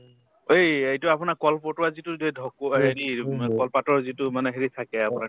এই‍ এইটো আপোনাক কলপটোৱাৰ যিটো যে ঢকো হেৰি উম কলপাতৰ যিটো মানে হেৰি থাকে আপোনাৰ